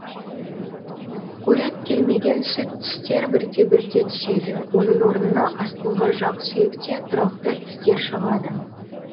қорек келмеген сүт тістер бірте бірте түседі оның орнына астыңғы жақсүйекте тұрақты тістер шығады